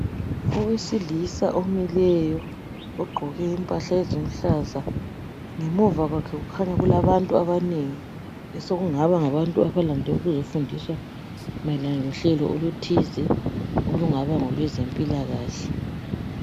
owesilisa omileyo ogqoke imphahla eziluhlaza ngemuva kwakhe kukhanya kulabantu abanengi abalande ukuzofundiswa mayelana ngohlelo oluthize olungaba ngolwezempilakahle